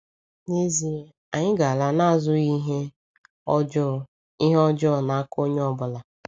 N'ezie, anyị ga-“ala azụghị ihe ọjọọ ihe ọjọọ n’aka onye ọ bụla.”